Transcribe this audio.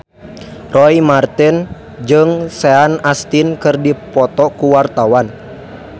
Roy Marten jeung Sean Astin keur dipoto ku wartawan